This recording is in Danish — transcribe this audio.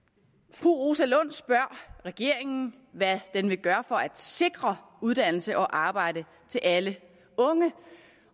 fru rosa lund spørger regeringen hvad den vil gøre for at sikre uddannelse og arbejde til alle unge